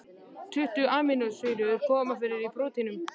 Tuttugu amínósýrur koma fyrir í prótínum.